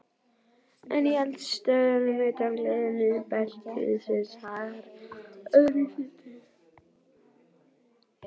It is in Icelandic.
En í eldstöðvum utan gliðnunarbeltisins hagar öðruvísi til.